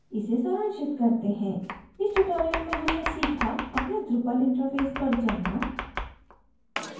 इसे सारांशित करते हैं इस tutorial में हमने सीखा अपने drupal interface पर जाना